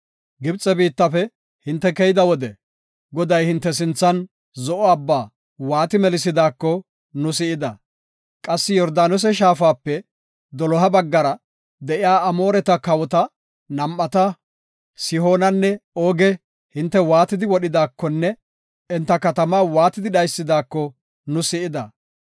Gibxe biittafe hinte keyida wode, Goday hinte sinthan Zo7o Abbaa waati melisidaako nu si7ida. Qassi Yordaanose Shaafape doloha baggara de7iya Amoore kawota nam7ata, Sihoonanne Ooge hinte waatidi wodhidakonne enta katama waatidi dhaysidaako nu si7ida.